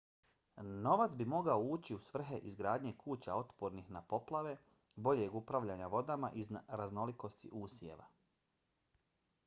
novac bi mogao ići u svrhe izgradnje kuća otpornih na poplave boljeg upravljanja vodama i raznolikosti usjeva